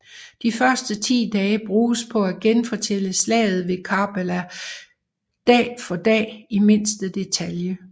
De første 10 dage bruges på at genfortælle Slaget ved Karbala dag for dag i mindste detalje